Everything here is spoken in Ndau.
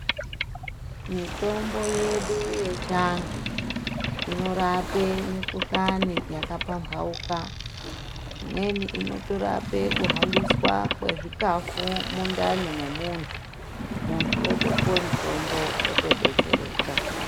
Mitombo yedu yechi antu inorape mikuhlani yaka pambauka imweni inoto rape ku hambiswa kwe zvikafu mundani mwe muntu muntu otopuwe mutombo oto detsereka.